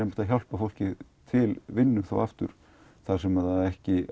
að hjálpa fólki til vinnu aftur þar sem það á ekki